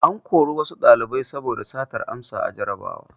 An kori wasu ɗalibai saboda satar amsa a jarrabawa.